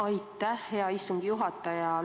Aitäh, hea istungi juhataja!